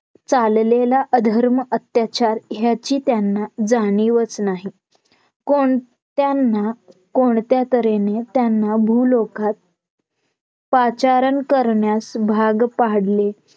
चाललेला अधर्म अत्याचार ह्याची त्यांना जाणीवच नाही कोण त्यांना कोणत्यातर्हेने त्यांना भूलोकात पाचारण करण्यास भाग पाडले